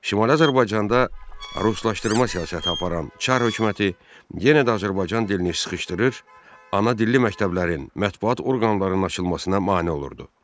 Şimali Azərbaycanda ruslaşdırma siyasəti aparan Çar hökuməti yenə də Azərbaycan dilini sıxışdırır, ana dilli məktəblərin, mətbuat orqanlarının açılmasına mane olurdu.